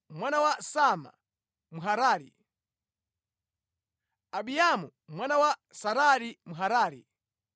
mwana wa Sama Mharari, Ahiamu mwana wa Sarari Mharari,